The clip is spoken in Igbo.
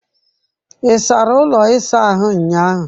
Ị sara ụlọ ịsa ahụ ụnyahụ?